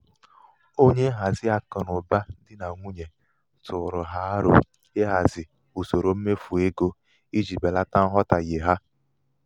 onye nhazi akụnaụba dị nà nwunye tụụrụ ha aro ịhazi usoro mmefu égo i ji belata nghọtahie ha.